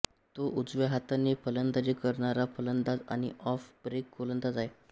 तो उजव्या हाताने फलंदाजी करणारा फलंदाज आणि ऑफ ब्रेक गोलंदाज आहे